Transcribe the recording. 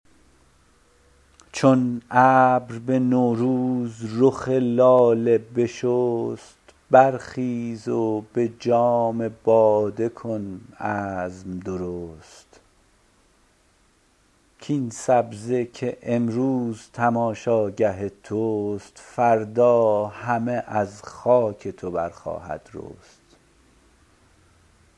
چون ابر به نوروز رخ لاله بشست بر خیز و به جام باده کن عزم درست کاین سبزه که امروز تماشاگه توست فردا همه از خاک تو برخواهد رست